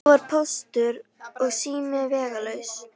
Nú var Póstur og sími vegalaus.